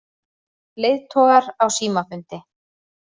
Leiðtogar á símafundi